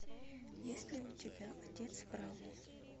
есть ли у тебя отец брауни